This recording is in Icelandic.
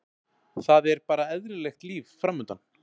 Það er bara eðlilegt líf framundan.